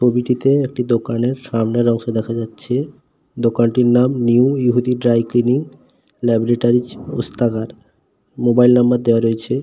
ছবিটিতে একটি দোকানের সামনের অংশ দেখা যাচ্ছে দোকানটির নাম নিউ ইহুদি dry cleaning laboratories Ostagar mobile number দেওয়া রয়েছে।